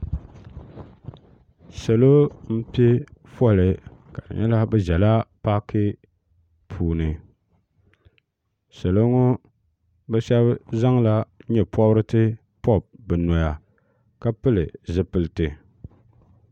salo n zala paaki puuni bɛ pɛla ƒɔli salo ŋɔ bɛ shɛba zaŋ la nyɛporisi pobi bɛni noya ka pɛli zipɛlitɛ